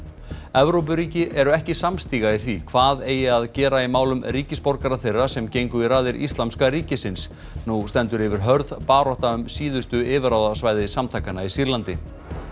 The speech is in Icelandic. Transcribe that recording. Evrópuríki eru ekki samstiga í því hvað eigi að gera í málum ríkisborgara þeirra sem gengu í raðir Íslamska ríkisins nú stendur yfir hörð barátta um síðustu yfirráðasvæði samtakanna í Sýrlandi